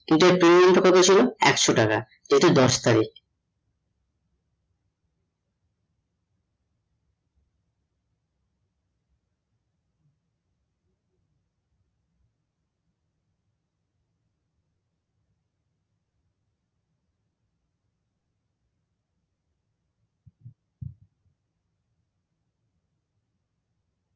future trading টা কতছিল একশো টাকা এটা দশ তারিক